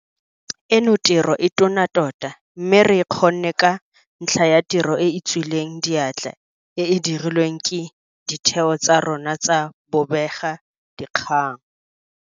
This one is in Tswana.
Eno tiro e tona tota mme re e kgonne ka ntlha ya tiro e e tswileng diatla e e dirilweng ke ditheo tsa rona tsa bobe gakgang.